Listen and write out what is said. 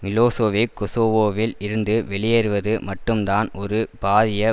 Milosevic குசோவோவில் இருந்து வெளியேறுவது மட்டும்தான் ஒரு பாரிய